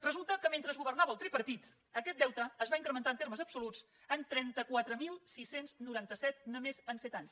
resulta que mentre governava el tripartit aquest deute es va incrementar en termes absoluts en trenta quatre mil sis cents i noranta set només en set anys